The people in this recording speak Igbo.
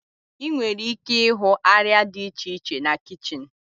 Ị nwere ike ịhụ arịa dị iche iche na kichin.